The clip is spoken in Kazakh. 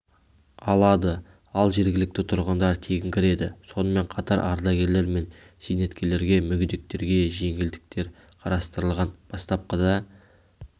алады ал жергілікті тұрғындар тегін кіреді сонымен қатар ардагерлер мен зейнеткерлерге мүгедектерге жеңілдіктер қарастырылған бастапқыда